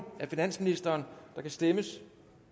af finansministeren der kan stemmes